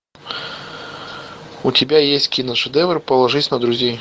у тебя есть киношедевр положись на друзей